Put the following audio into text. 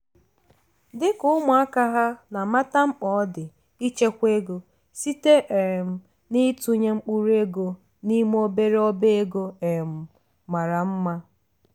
dịka ụmụaka ha na amata mkpa ọ dị ichekwa ego site um n'itụnye mkpụrụ ego n'ime obere ọba ego um mara mma.